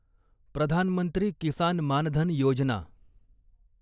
Pradhan Mantri Kisan Maan Dhan Yojana